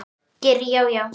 Geir Já, já.